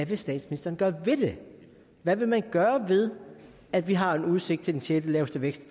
vil statsministeren gøre ved det hvad vil man gøre ved at vi har udsigt til den sjette laveste vækst